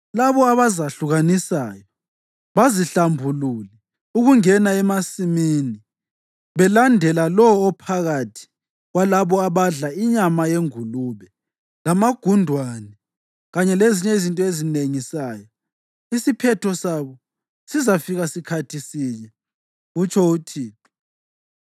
“Labo abazahlukanisayo, bazihlambulule ukungena emasimini belandela lowo ophakathi kwalabo abadla inyama yengulube lamagundwane kanye lezinye izinto ezinengisayo, isiphetho sabo sizafika sikhathi sinye,” kutsho uThixo.